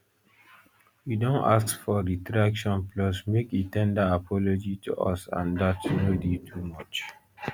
we don ask for a retraction plus make e ten der apology to us and dat no dey too much